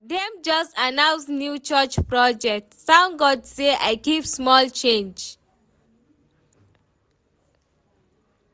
Dem just announce new church project, thank God sey I keep small change.